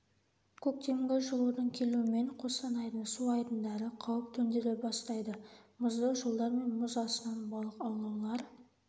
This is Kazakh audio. көктемгі жылудың келуімен қостанайдың су айдындары қауіп төндіре бастайды мұзды жолдар мен мұз астынан балық аулаулар